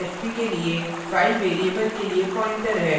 * fp के लिए file variable के लिए pointer है